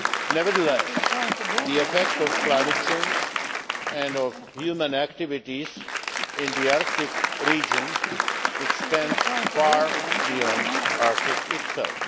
Nevertheless, the effects of climate change and of human activities in the Arctic region extend far beyond the Arctic itself.